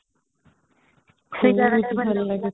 ସେ ଜାଗା ଟା ବି ଭଲ ଲାଗୁଥିଲା |